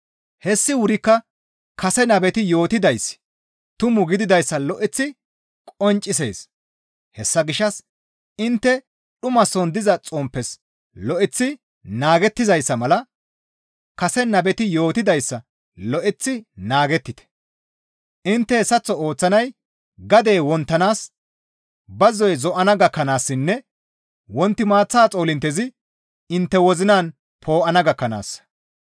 Hessi wurikka kase nabeti yootidayssi tumu gididayssa lo7eththi qonccisees; hessa gishshas intte dhumason diza xomppes lo7eththi naagettizayssa mala kase nabeti yootidayssa lo7eththi naagettite. Intte hessaththo ooththanay gadey wonttanaas, bazzoy zo7ana gakkanaassinne wonti maaththa xoolinttezi intte wozinan poo7ana gakkanaassa.